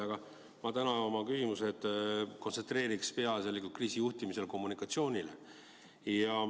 Aga ma täna kontsentreerin oma küsimused peaasjalikult kriisijuhtimisele ja kommunikatsioonile.